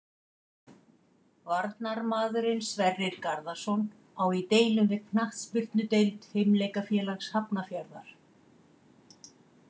Varnarmaðurinn Sverrir Garðarsson á í deilum við knattspyrnudeild Fimleikafélags Hafnarfjarðar.